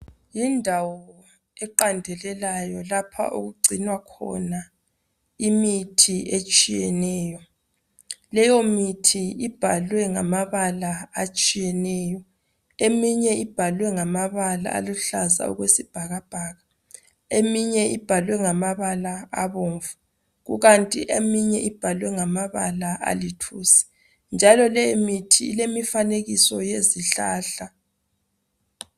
Yindawo eqandelelayo lapha okugcinwa khona imithi etshiyeneyo . Leyo mithi ibhalwe ngamabala atshiyeneyo . Eminye ibhalwe ngamabala aluhlaza okwesibhakabhaka . Eminye ibhalwe ngamabala abomvu kanti eminye ibhalwe ngamabala alithusi njalo leyo mithi ilemifanekiso yezihlahla .